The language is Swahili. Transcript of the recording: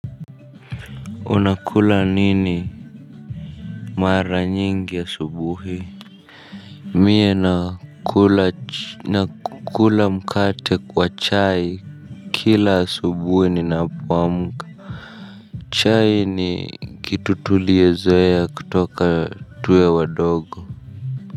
Unakula nini mara nyingi asubuhi. Mie nakula mkate kwa chai. Kila asubuhi ninapoamka chai ni kitu tuliezoea kutoka tuwe wadogo.